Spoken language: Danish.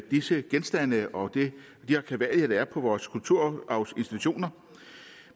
disse genstande og de arkivalier der er på vores kulturarvsinstitutioner